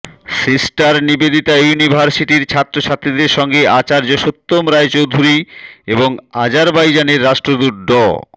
sister Nivedita ইউনিভার্সিটির ছাত্রছাত্রীদের সঙ্গে আচার্য সত্যম রায়চৌধুরী এবং আজারবাইজানের রাষ্ট্রদূত ড